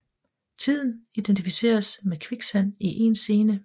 Tiden identificeres med kviksand i én scene